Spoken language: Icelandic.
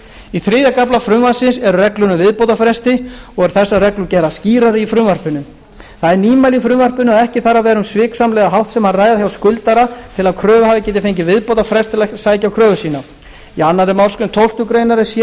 í þriðja kafla frumvarpsins eru reglur um viðbótarfresti og eru þessar reglur gerðar skýrari í frumvarpinu það er nýmæli í frumvarpinu að ekki þarf að vera um sviksamlega háttsemi að ræða hjá skuldara til að kröfuhafi geti fengið viðbótarfrest til að sækja kröfu sína í annarri málsgrein tólftu grein er sérregla